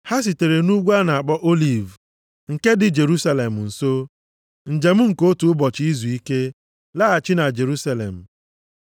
Ha sitere nʼUgwu a na-akpọ Oliv nke dị Jerusalem nso, njem nke otu ụbọchị izuike, laghachi na Jerusalem.